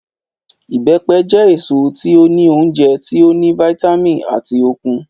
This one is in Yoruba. Ìbẹ́pẹ jẹ eso ti o ni ounjẹ ti o ni vitamin ati okun.